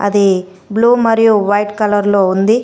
The blue మరియు white కలర్లో ఉంది.